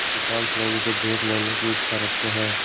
अधिकांश लोग इसे देख लेने की इच्छा रखते हैं